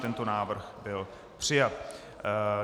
Tento návrh byl přijat.